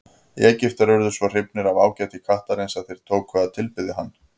Egyptar urðu svo hrifnir af ágæti kattarins að þeir tóku að tilbiðja hann.